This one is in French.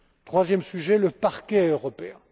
Troisième sujet le Parquet européen.